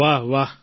વાહ વાહ વાહ